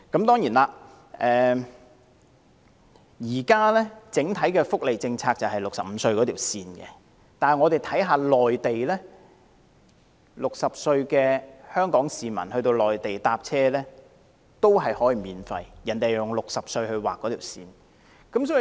當然，現時香港整體福利政策以65歲作為界線，但60歲的香港市民在內地乘車卻可享免費優惠，因為內地以60歲來劃線。